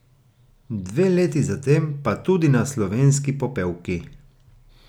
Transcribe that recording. Dve leti zatem pa tudi na Slovenski popevki.